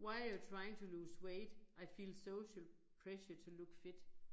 Why are you trying to lose weight? I feel social pressure to look fit